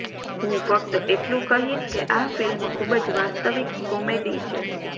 હું ફક્ત એટલું કહીશ કે આ ફિલ્મ ખૂબ જ વાસ્તવિક કોમેડી છે